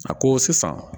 A ko sisan